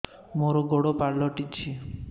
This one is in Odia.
ମୋର ଗୋଡ଼ ପାଲଟିଛି